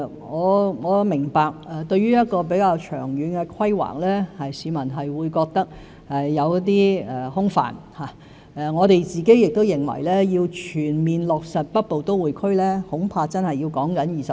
我明白對於一項比較長遠的規劃，市民會覺得有些空泛，我們亦認為要全面落實北部都會區，恐怕真的需時20年。